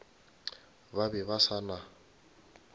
ba be ba se na